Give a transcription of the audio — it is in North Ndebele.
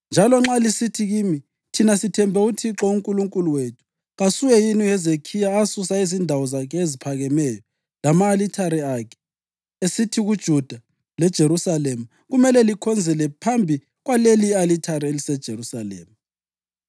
Njalo nxa lisithi kimi, “Thina sithembe uThixo uNkulunkulu wethu”: kasuye yini uHezekhiya asusa izindawo zakhe eziphakemeyo lama-alithare akhe, esithi kuJuda leJerusalema, “Kumele likhonzele phambi kwaleli i-alithari eliseJerusalema”?